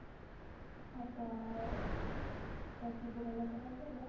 ହଁ ତ ଅ ତ ସେ ବୁଢା ଲୋକ ଟା କହିଲା